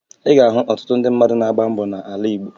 Ị ga-ahụ ọtụtụ ndị mmadụ na-agba mbọ n'ala Igbo